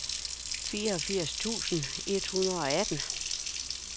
fireogfirs tusind et hundrede og atten